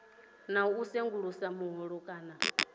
na u sengulusa vhuhole kana